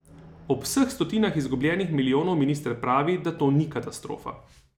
Ob vseh stotinah izgubljenih milijonov minister pravi, da to ni katastrofa.